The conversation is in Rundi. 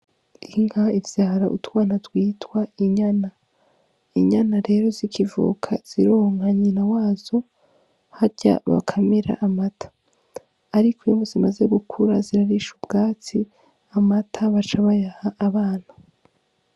Inka ivyara utwana twitwa inyana, inyana rero zikivuka zironka nyina wazo harya bakamira amata ariko zimaze gukura zirarisha ubwatsi amata baca bayaha abana.